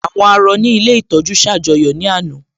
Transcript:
Àwọn àárọ̀ ní ilé ìtọ́jú ṣ'àjọyọ̀ ní àná